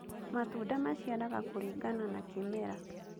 Matunda maciaraga kũringana na kĩmera